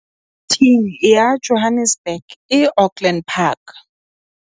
Thing ya Johannesburg e Auckland Park.